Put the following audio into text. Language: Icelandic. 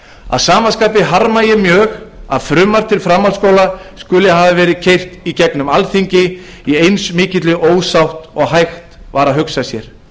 að sama skapi harma ég mjög að frumvarp til framhaldsskóla skuli hafa verið keyrt í gegnum alþingi í eins mikilli ósátt og hægt var að hugsa sér